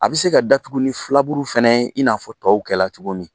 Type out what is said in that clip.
A bɛ se ka datugu ni filaburu fɛnɛ ye in n'a fɔ tɔw kɛla cogo min.